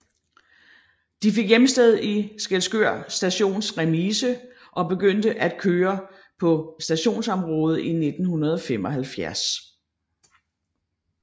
De fik hjemsted i Skælskør Stations remise og begyndte at køre på stationsområdet i 1975